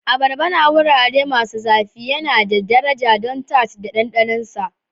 Abarba na wurare masu zafi yana da daraja don tart da ɗanɗanon sa.